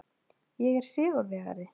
Ég er sigurvegari.